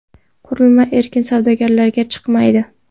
Qurilma erkin savdolarga chiqmaydi.